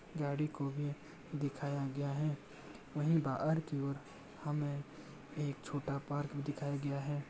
गाड़ी को भी दिखाया गया है | वहीं बाहर की ओर हमें एक छोटा पार्क दिखाया गया है |